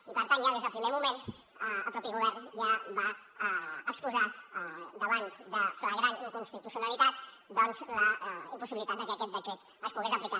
i per tant ja des del primer moment el mateix govern ja va exposar davant de flagrant inconstitucionalitat doncs la impossibilitat que aquest decret es pogués aplicar